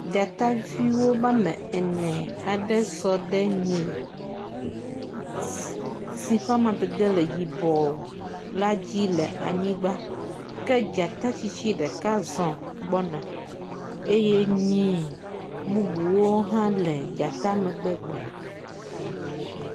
Dzataviwo woamene aɖe sɔ ɖe nyi si ƒe amadede le yibɔɔ la dzi le anyigba. Ke dzata tsitsi ɖeka aɖe zɔ gbɔna eye nyi bubuwo hã le dzata megbe gbɔna.